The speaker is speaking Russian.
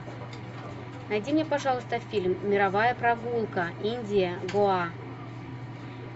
найди мне пожалуйста фильм мировая прогулка индия гоа